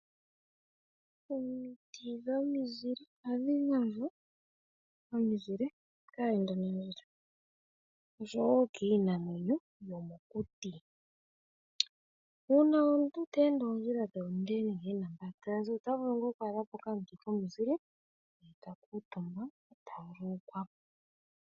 Omiti dhomizile ohadhi gandja omizile kaayendanandjila noshowo kiinamwenyo yomokuti. Uuna omuntu te ende oondjila oonde ota vulu ngaa oku adha po okamuti komuzile e ta kuutumba e ta vululukwa po.